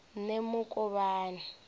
nemukovhani